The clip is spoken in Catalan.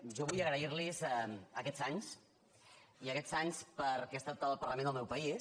jo vull agrair los aquests anys aquests anys perquè he estat al parlament del meu país